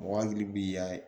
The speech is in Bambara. Mɔgɔ hakili b'i la